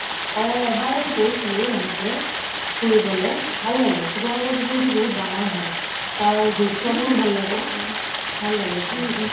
অগ এবাৰ গৈছিলো এনেকে ফুৰিবলে ভাল লাগে শিৱসাগৰ পুখুৰি বহুত ডাঙৰ হয় তাৰ দৃশ্য বোৰও ভাল লাগে, ভাল লাগে চাই